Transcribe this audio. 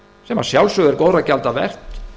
sem að sjálfsögðu er góðra gjalda vert